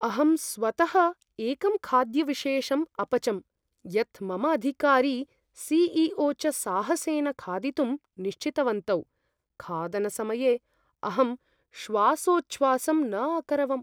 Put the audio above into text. अहं स्वतः एकं खाद्यविशेषम् अपचं, यत् मम अधिकारी, सी.ई.ओ. च साहसेन खादितुं निश्चितवन्तौ। खादनसमये अहं श्वासोच्छ्वासं न अकरवम्।